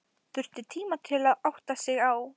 Þurfti tíma til að átta sig.